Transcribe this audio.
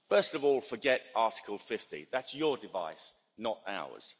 First of all, forget Article 50 that's your device, not ours.